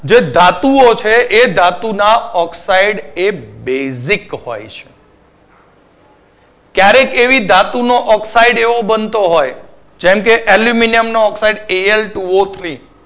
જે ધાતુઓ છે તે એ ધાતુના oxide એ basic હોય છે. ક્યારેક એવી ધાતુનો oxide એવો બનતો હોય જેમ કે એલ્યુમિનિયમનો oxide એ L two O three